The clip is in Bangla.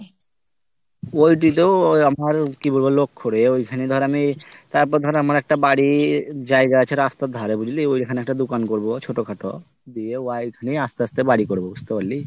poultry তো আমার কি বলবো লোক করে ঐখানে ধর আমি তারপর আমার একটা বাড়ি জায়গা আছে রাস্তার ধরে বুঝলি ওই ঐখানে একটা দোকান করব ছোট খাটো দিয়ে আস্তে আস্তে বাড়ি করব বুঝতে পারলি